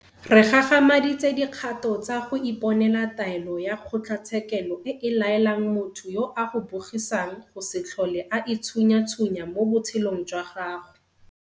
Re gagamaditse dikgato tsa go iponela taelo ya kgotlatshekelo e e laelang motho yo a go bogisang go se tlhole a itshunyatshunya mo botshelong jwa gago.